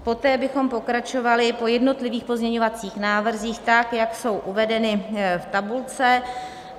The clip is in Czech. Poté bychom pokračovali po jednotlivých pozměňovacích návrzích tak, jak jsou uvedeny v tabulce.